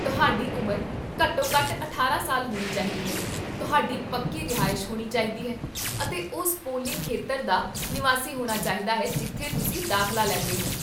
ਤੁਹਾਡੀ ਉਮਰ ਘੱਟੋ ਘੱਟ ਅਠਾਰਾਂ ਸਾਲ ਹੋਣੀ ਚਾਹੀਦੀ ਹੈ, ਤੁਹਾਡੀ ਪੱਕੀ ਰਿਹਾਇਸ਼ ਹੋਣੀ ਚਾਹੀਦੀ ਹੈ, ਅਤੇ ਉਸ ਪੋਲਿੰਗ ਖੇਤਰ ਦਾ ਨਿਵਾਸੀ ਹੋਣਾ ਚਾਹੀਦਾ ਹੈ ਜਿੱਥੇ ਤੁਸੀਂ ਦਾਖ਼ਲਾ ਲੈਂਦੇ ਹੋ